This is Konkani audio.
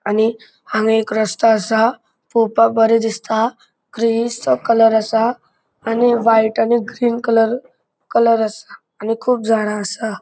आणि हांगा एक रस्तों असा. पोवपाक बरो दिसता ग्रेयिशसो कलर असा. आणि व्हाइट आणि ग्रीन कलर कलर असा. आणि खूब झाडा असा.